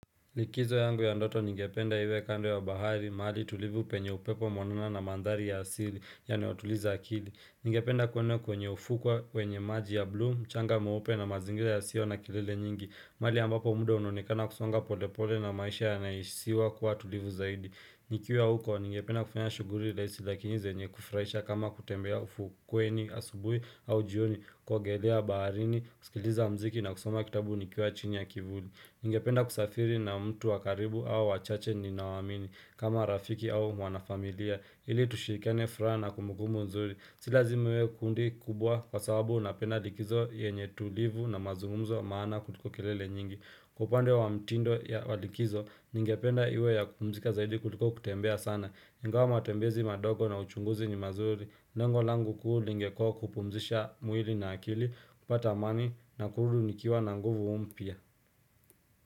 Likizo yangu ya ndoto ningependa iwe kando ya bahari, mahali tulivu penye upepo mwanana na mandhari ya asili, yanayotuliza akili. Ningependa kuenda kwenye ufukwa, wenye maji ya blu, changa mweupe na mazingira ya sio na kelele nyingi. Mahali ambapo muda unaonekana kusonga polepole na maisha ya nahisiwa kuwa tulivu zaidi. Nikiwa huko, ningependa kufanya shughuli rahisi lakini zenye kufurahisha kama kutembea ufukweni, asubuhi au jioni kuogelea baharini, kusikiliza muziki na kusoma kitabu nikuwa chini ya kivuli. Ningependa kusafiri na mtu wa karibu au wachache ninaowaamini kama rafiki au wanafamilia Ili tushirikiane furaha na kumbukumbu nzuri Si lazima iwe kundi kubwa kwa sababu unapenda likizo yenye tulivu na mazungumzo maana kuliko kelele nyingi upande wa mtindo ya likizo, ningependa iwe ya kupumzika zaidi kuliko kutembea sana ingawa matembezi madogo na uchunguzi ni mazuri lengo langu kuu lingekuwa kupumzisha mwili na akili, kupata amani na kurudi nikiwa na nguvu mpya.